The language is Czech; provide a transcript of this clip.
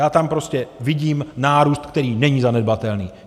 Já tam prostě vidím nárůst, který není zanedbatelný.